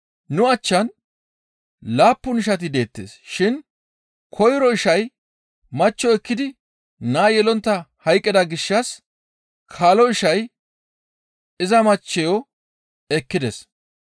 Nu achchan laappun ishati deettes shin koyro ishay machcho ekkidi naa yelontta hayqqida gishshas kaalo ishay iza machcheyo ekkides.